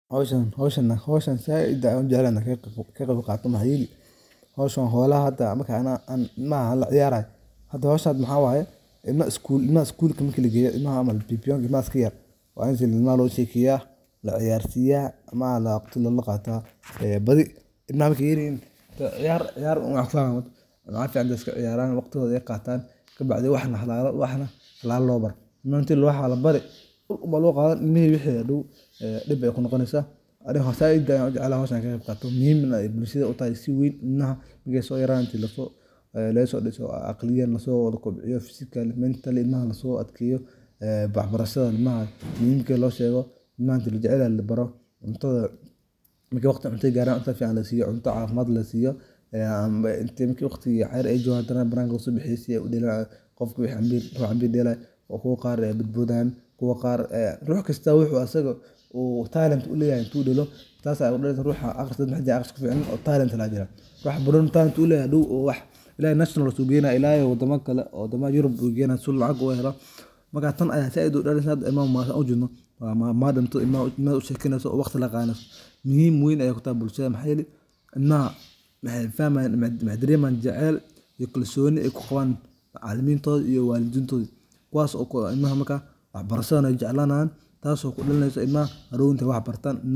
Howshan zaid an ujeclahay ina kaqeb qaato howshan wa howlaha hada marka ilamaha laciyarayo hada hiwshan waxa waya ilmaha skuulka marka legeyo imaha camal BB1 ilmaha sikayar ilmaha wa losheekeya ilmaha wa laciyar siya waqti lalqata badi ilmaha marka ay yaryahin ciyar ciyar un waxa kufahmayan waxa fican inay iska ciyaran waqtigoda ay qatan kabaacdi waxna waxna labaro. Inta ladahaya waxba labari uulun ba loqadan ilmihi wixi hadow e dip ay kunoqoneysa ani zaid ayan u jeclahay howshani e muhimna si weyn bulshada u tahay. Ilmaha marka so yaradan inta lagasodiso aqliyan laso walakobciyo physically, mentally ilmaha lageyo waxbarashada ilmaha muhimka loshego inta lajecelyahay labaro marki waqtiga cuntada lagaro cuntada lasiyo cunta cafimad leh lasiyo e ama waqtiga ciyar ayjogan lasobixiyo si ay u deelan qofka marku impir delayo kuwa qar aya badbodayan kuwa qar rux kasta wuxu asaga u talent u leyahy u deelo tas an amin sanahay rux waxajira akhris kufican wax hadow balooni talent u leyahay ila national u geyanaya ila wadama kale ila wadamaha Europe u geeynayo si u lacag ugu heelo marka tan aya zaid marka ilmaha san ujedno ilmaha iyo madam toda ilmaha useekeyneyso waqti laqadan neyso muhim weyn utahay bulshada maxa yelaay ilmaha maxay fahmayan maxay daremayan jecyl iyo kalsoni ay kuqaban macalimintoda iyo walidintoda kuwas ilmaha marak waxbarashada ay jeclanayan tas o kudalineyso ilmaha hadow intay waxa bartan.